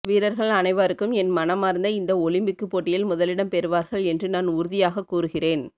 வீரர்கள் அனைவாருக்கும் என் மனமார்ந்த இந்த ஒலிம்பிக்கு பேட்டியில் முதலிடம் பெறுவார்கள் என்று நான் உறுதியாக கூறுகிறேன்